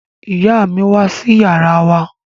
Ìyá mi wá sí yàrá wa